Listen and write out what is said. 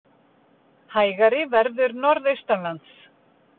Hægari verður norðaustanlands